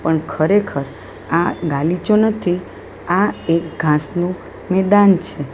ખરેખર આ ગાલીચો નથી આ એક ઘાસનું મેદાન છે.